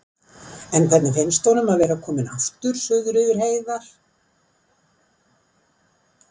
En hvernig finnst honum að vera kominn aftur suður yfir heiðar?